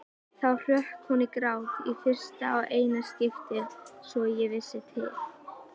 Þá hrökk hún í grát, í fyrsta og eina skiptið svo ég vissi til.